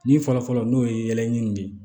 Ni fɔlɔfɔlɔ n'o ye yɛlɛɲini de ye